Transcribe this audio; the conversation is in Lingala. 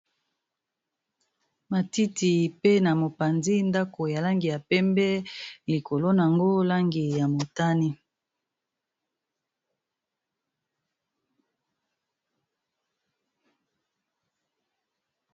Matiti pe na mopanzi ndako ya langi ya pembe likolo nango langi ya motani.